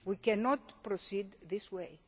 We cannot proceed this